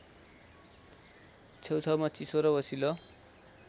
छेउछाउमा चिसो र ओसिलो